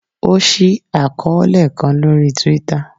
o ṣii akọọlẹ kan lori Twitter